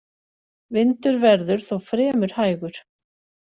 Vindur verður þó fremur hægur